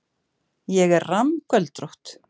Ég er rammgöldrótt.